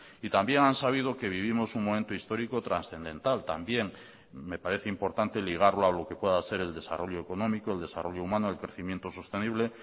y también han sabido que vivimos un momento histórico trascendental también me parece importante ligarlo a lo que pueda ser el desarrollo económico el desarrollo humano el crecimiento sostenible